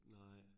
Nej